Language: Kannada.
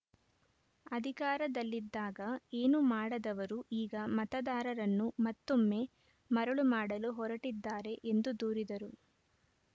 ಅಧಿಕಾರದಲ್ಲಿದ್ದಾಗ ಏನು ಮಾಡದವರು ಈಗ ಮತದಾರರನ್ನು ಮತ್ತೊಮ್ಮೆ ಮರುಳು ಮಾಡಲು ಹೊರಟಿದ್ದಾರೆ ಎಂದು ದೂರಿದರು